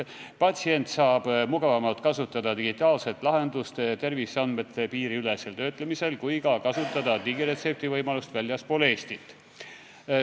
Patsient saab mugavamalt kasutada digitaalset lahendust terviseandmete piiriülesel töötlemisel ning ka kasutada digiretseptivõimalust väljaspool Eestit.